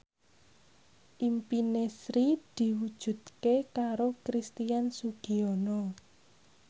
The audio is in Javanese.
impine Sri diwujudke karo Christian Sugiono